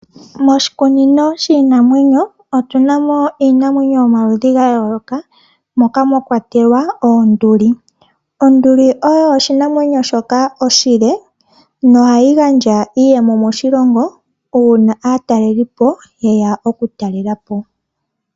Moshikunino shiinamwenyo otuna mo iinamwenyo yomaludhi gayooloka moka mwakwatelwa oonduli. Onduli oyo oshinamwenyo shoka oshile nohayi gandja iiyemo moshilongo uuna aatalelipo yeya okutalelapo.